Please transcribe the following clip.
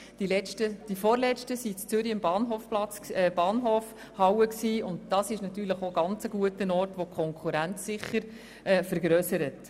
Die vorletzten SwissSkills fanden in der Zürcher Bahnhofhalle statt, und dies ist natürlich auch ein sehr guter Ort, der den Konkurrenzdruck sicher vergrössert.